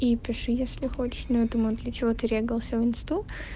ну пиши если хочешь но я думаю для чего ты регался в инсту